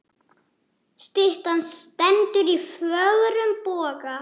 Styttan stendur í fögrum boga.